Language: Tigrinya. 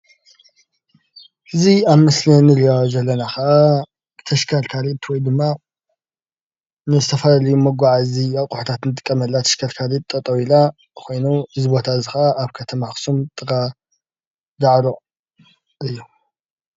እዚ ኣብ ምስሊ እንሪኦ ዘለና ኸዓ ተሽከርካሪት ወይ ድማ ንዝተፈላለዩ መጎዓዚ ኣቁሑታት እንጥቀመላ ተሽከርካሪት ጠጠው ኢላ ኾይኑ እዚ ቦታ እዙይ ከዓ ኣብ ከተማ ኣኽሱም ጥቃ ዳዕሮ እዩ።